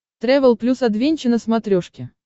трэвел плюс адвенча на смотрешке